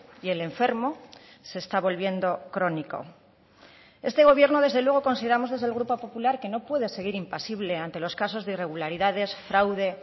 y el enfermo se está volviendo crónico este gobierno desde luego consideramos desde el grupo popular que no puede seguir impasible ante los casos de irregularidades fraude